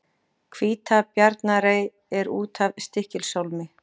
Hvítabjarnarey er út af Stykkishólmi.